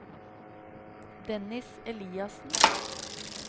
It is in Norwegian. Dennis Eliassen